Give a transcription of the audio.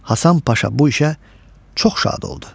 Hasan Paşa bu işə çox şad oldu.